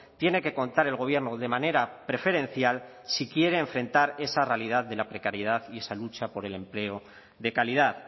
tiene que contar el gobierno de manera preferencial si quiere enfrentar esa realidad de la precariedad y esa lucha por el empleo de calidad